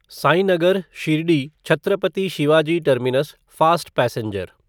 Sainagar Shirdi Chhatrapati Shivaji terminus fast passenger